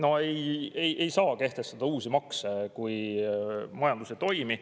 No ei saa kehtestada uusi makse, kui majandus ei toimi.